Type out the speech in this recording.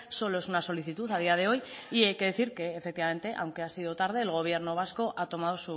solo es una solicitud a día de hoy y hay que decir que efectivamente aunque ha sido tarde el gobierno vasco ha tomado